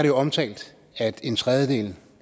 jo omtalt at en tredjedel